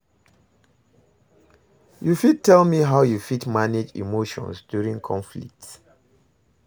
you fit tell me how you fit manage emotions during conflicts?